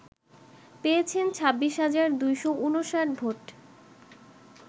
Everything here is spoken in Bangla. পেয়েছেন ২৬ হাজার ২৫৯ ভোট